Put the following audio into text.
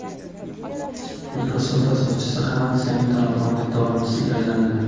Microsoft asoschisi ham aksiyaning to‘laqonli davomchisiga aylandi.